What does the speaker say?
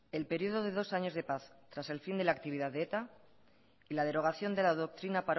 el periodo de dos años de paz tras el fin de la actividad de eta y la derogación de la doctrina